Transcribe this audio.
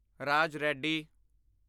Raj ready